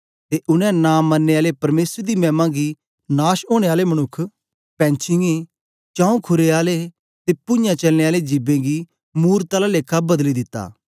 ते उनै नां मरने आले परमेसर दी मैमा गी नाश ओनें आले मनुक्ख पैंछीयें चौंऊ खुरें आले ते पूञाँ चलने आले जिबें गी मूरत आला लेखा बदली दित्ता